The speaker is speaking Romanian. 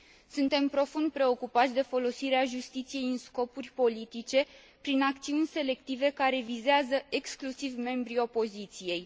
Suntem profund preocupați de folosirea justiției în scopuri politice prin acțiuni selective care vizează exclusiv membrii opoziției.